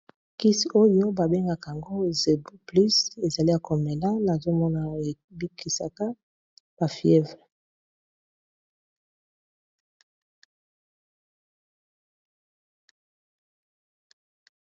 Kisi oyo babengaka yango zebuplus ezali ya komela nazomona ebikisaka ba fievre.